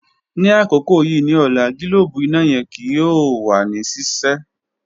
Ni akoko yii ni ọla, gilobu ina yẹ ki o wa ni sise.